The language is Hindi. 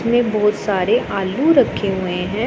इसमें बहोत सारे आलू रखे हुए हैं।